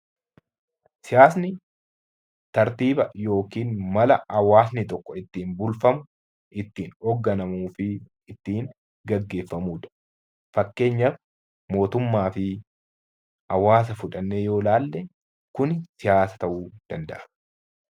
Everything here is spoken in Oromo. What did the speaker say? Siyaasni tartiiba yokin mala hawaasni tokko ittiin bulfamu, ittiin hoogganamuu fi ittiin geggeeffamuudha. Fakkeenyaf mootummaa fi hawaasa fudhannee yoo laalle kuni siyaasa ta'uu danda'a.